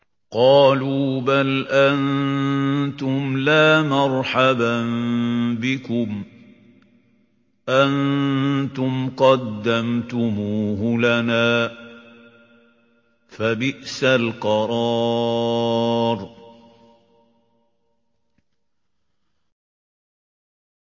قَالُوا بَلْ أَنتُمْ لَا مَرْحَبًا بِكُمْ ۖ أَنتُمْ قَدَّمْتُمُوهُ لَنَا ۖ فَبِئْسَ الْقَرَارُ